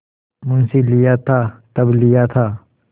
मुंशीलिया था तब लिया था